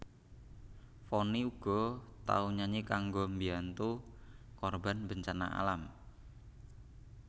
Vonny uga tau nyanyi kanggo mbiyantu korban bencana alam